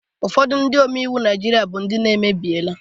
Ụfọdụ Ndị omeiwu Naijiria bu Ndị n' emebiela